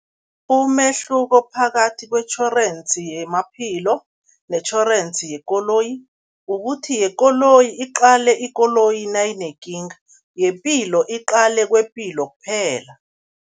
Umehluko phakathi kwetjhorensi yemaphilo netjhorensi yekoloyi, ukuthi yekoloyi iqale ikoloyi nayinekinga, yepilo iqale kwepilo kuphela.